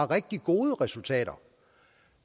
rigtig gode resultater